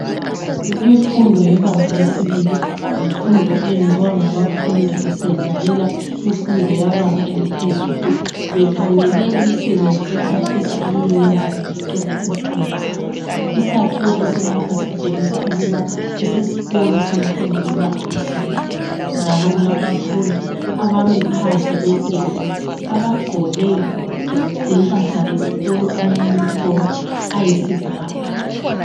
Imfundo yebanga lesibili yimfundo eyenziwa ngabafundi besendlalela imfundo yebanga laphezulu bekhangele imisebenzi abafisa ukuyenza bengaqeda izifundo zabo. Isakhiwo esilapha sitshengisa ukuba kusesikolo semfundo yebanga lesibili njalo kulabafundi abemi phandle kwegedi abagqoke impahla zesikolo amayunifomu ayisibhakabhaka.